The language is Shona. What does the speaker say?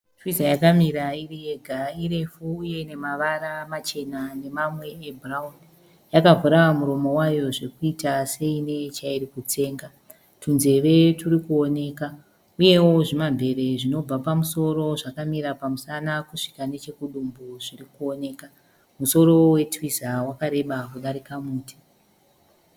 Twiza yakamira iriyega irefu uye ine mavara machena nemamwe ebhurauni . Yakavhura muromo wayo zvekuita seine chairi kutsenga tunzeve turi kuoneka . Uyewo zvimamvere zvinobva pamusoro zvakamira pamusana kusvika nechekudumbu zviri kuoneka . Musoro weTwiza wakareba kudarika muti .